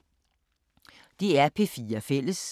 DR P4 Fælles